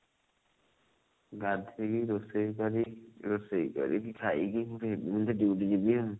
ଗାଧେଇକି ରୋଷେଇ କରି ରୋଷେଇ କରିକି ଖାଇକି duty ଯିବି ଆଉ